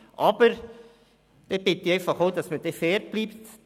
Aber ich bitte auch darum, fair zu bleiben: